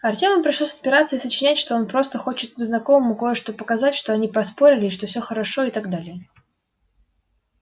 артёму пришлось отпираться и сочинять что он просто хочет тут знакомому кое-что показать что они поспорили что все хорошо и так далее